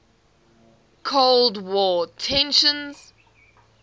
cold war tensions